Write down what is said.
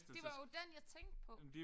Det var jo den jeg tænkte på